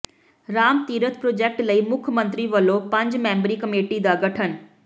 Ram Tirath project ਲਈ ਮੁੱਖ ਮੰਤਰੀ ਵਲੋਂ ਪੰਜ ਮੈਂਬਰੀ ਕਮੇਟੀ ਦਾ ਗਠਨ